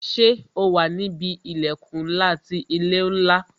Ṣé o wà níbi ilẹkun ńlá ti ilé ńlá